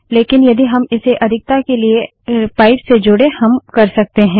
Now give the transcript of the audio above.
लेकिन यदि हम इसे अधिकता के लिए पाइप से जोडें हम कर सकते हैं